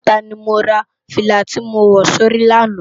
Idumota ni mó rá filá ti mó wò si óri làná